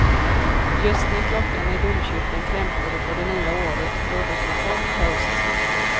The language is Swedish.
Just när klockan i domkyrkan klämtade för det nya året rådde totalt kaos i centrum.